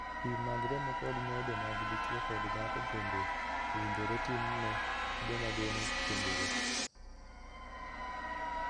Pim mag remo kod nyodo mag dichuo kod dhako bende owinjore tim ne joma geno kendore.